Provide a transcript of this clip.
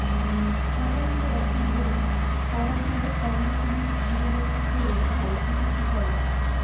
স্বতন্ত্র একটি জোন করাসহ কর্ণফুলীর জীববৈচিত্র্য রক্ষায় কিছু সুপারিশ